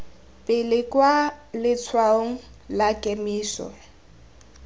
pele kwa letshwaong la kemiso